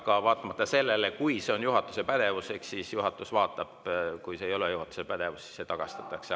Aga vaatamata sellele, kui see on juhatuse pädevuses, siis juhatus seda vaatab, kui see ei ole juhatuse pädevuses, siis see tagastatakse.